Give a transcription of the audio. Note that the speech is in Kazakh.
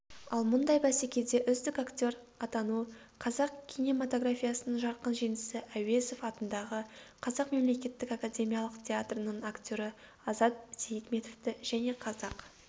ал мұндай бәсекеде үздік актер атану қазақ кинематографиясының жарқын жеңісі әуезов атындағы қазақ мемлекеттік академиялық театрының актері азат сейітметовті және қазақ